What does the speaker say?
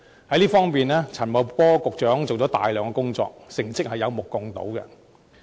在這方面，陳茂波局長做了大量工作，成績有目共睹。